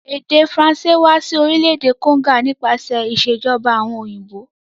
Èdè Faranṣé wa si orílẹ̀dè Congo nípasẹ̀ ìsèjoba àwon òyìnbó